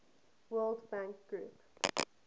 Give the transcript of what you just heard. world bank group